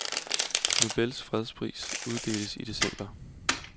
Nobels fredspris uddeles i december.